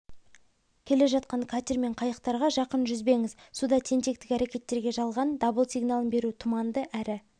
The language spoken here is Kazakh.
келе жатқан катер мен қайықтарға жақын жүзбеңіз суда тентектік әрекеттерге жалған дабыл сигналын беру тұманды әрі